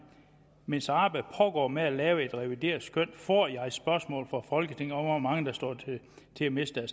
mens arbejdet pågår med at lave et revideret skøn får jeg et spørgsmål fra folketinget om hvor mange der står til at miste